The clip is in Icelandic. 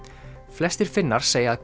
flestir Finnar segja að